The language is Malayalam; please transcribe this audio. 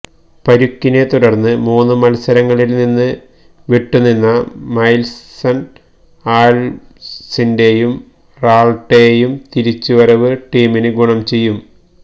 പരിക്കിനെ തുടര്ന്ന് മൂന്നു മത്സരങ്ങളില് നിന്ന് വിട്ടുനിന്ന മൈല്സണ് ആല്വ്സിന്റെയും റാള്ട്ടെയും തിരിച്ചുവരവ് ടീമിന് ഗുണം ചെയ്യും